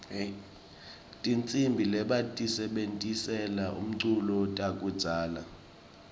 tihsimbi lebatisebentisela umculo takudzala